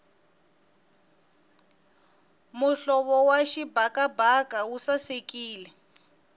muhlovo wa xibakabaka wu sasekile